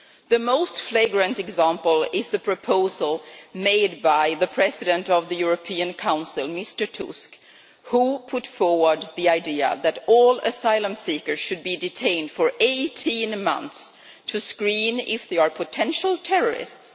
The most flagrant example is the proposal made by the President of the European Council, Mr Tusk, who put forward the idea that all asylum seekers should be detained for 18 months to screen if they are potential terrorists.